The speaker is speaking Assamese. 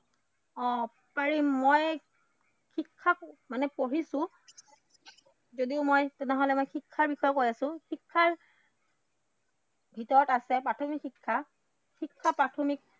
অ পাৰিম, মই শিক্ষাক মানে পঢ়িছো যদিও মই শিক্ষাৰ বিষয়ে কৈ আছো শিক্ষাৰ ভিতৰত আছে প্ৰাথমিক শিক্ষা, শিক্ষা প্ৰাথমিক